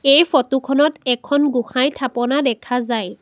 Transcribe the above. এই ফটো খনত এখন গোঁসাইৰ থাপনা দেখা যায়।